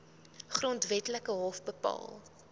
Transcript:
grondwetlike hof bepaal